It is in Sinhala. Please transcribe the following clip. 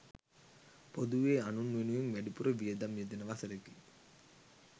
පොදුවේ අනුන් වෙනුවෙන් වැඩිපුර වියදම් යෙදෙන වසරකි.